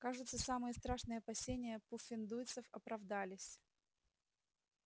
кажется самые страшные опасения пуффендуйцев оправдались